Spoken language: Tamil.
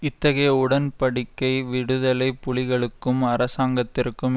இத்தகைய உடன் படிக்கை விடுதலை புலிகளுக்கும் அரசாங்கத்திற்கும்